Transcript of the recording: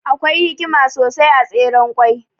Akwai hikima sosai a Tseren ƙwai.